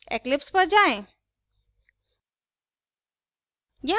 eclipse पर जाएँ